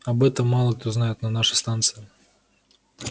об этом мало кто знает на нашей станции